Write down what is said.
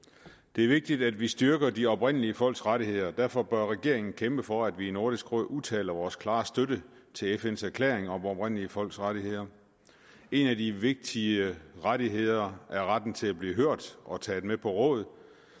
det er vigtigt at vi styrker de oprindelige folks rettigheder og derfor bør regeringen kæmpe for at vi i nordisk råd udtaler vores klare støtte til fns erklæring om oprindelige folks rettigheder en af de vigtige rettigheder er retten til at blive hørt og taget med på råd